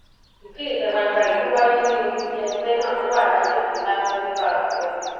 ìkéde ìta gbangba yìí ló wáyé ní olú ilé ẹgbẹ náà tó wà lágbègbè láfẹ nílùú àkùrẹ